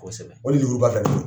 Kosɛbɛ, o lemuruba fila de bɛ n bolo..